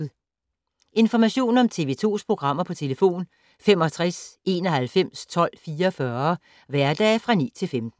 Information om TV 2's programmer: 65 91 12 44, hverdage 9-15.